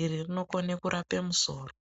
iri rinokone kurape musoro.